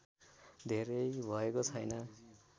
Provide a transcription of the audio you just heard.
धेरै भएको छैन